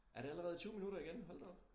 Er det allerede 20 minutter igen hold da op